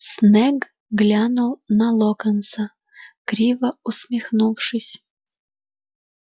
снегг глянул на локонса криво усмехнувшись